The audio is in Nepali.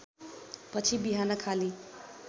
पछि बिहान खाली